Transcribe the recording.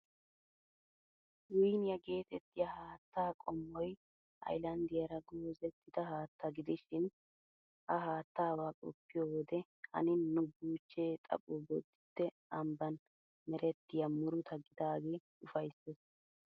Wiiniyaa geetettiya haattaa qommoy haylanddiyaara goozettida haattaa gidishin, ha haattaabaa qoppiyo wode hannin nu buuchchee xapho Bodditte ambban merettiyaa muruta gidaagee ufayssees.